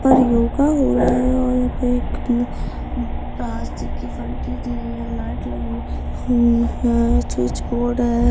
यहां पर योग हो रहा है यहां पर एक प्लास्टिक की फटी दी गई है लाइट लगी हुई है स्विच बोर्ड है।